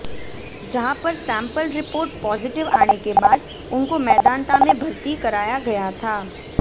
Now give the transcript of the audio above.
जहां पर sample report positive आने के बाद उनको मेदांता में भर्ती कराया गया था